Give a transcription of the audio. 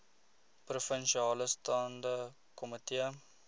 provinsiale staande komitee